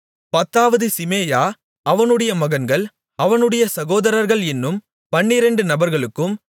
பத்தாவது சிமேயா அவனுடைய மகன்கள் அவனுடைய சகோதரர்கள் என்னும் பன்னிரெண்டு நபர்களுக்கும்